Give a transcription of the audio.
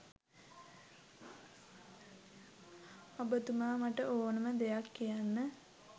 ඔබතුමා මට ඕනම දෙයක්‌ කියන්න.